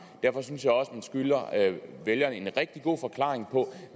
derfor synes jeg også man skylder vælgerne en rigtig god forklaring på